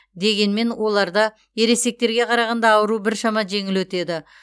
дегенмен оларда ересектерге қарағанда ауру біршама жеңіл өтеді